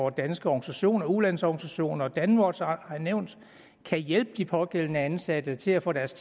og danske organisationer ulandsorganisationer og danwatch har været nævnt kan hjælpe de pågældende ansatte til at få deres